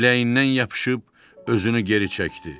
Biləyindən yapışıb özünü geri çəkdi.